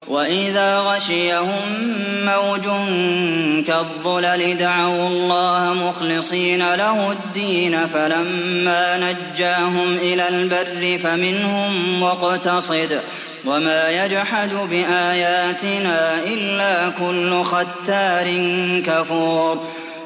وَإِذَا غَشِيَهُم مَّوْجٌ كَالظُّلَلِ دَعَوُا اللَّهَ مُخْلِصِينَ لَهُ الدِّينَ فَلَمَّا نَجَّاهُمْ إِلَى الْبَرِّ فَمِنْهُم مُّقْتَصِدٌ ۚ وَمَا يَجْحَدُ بِآيَاتِنَا إِلَّا كُلُّ خَتَّارٍ كَفُورٍ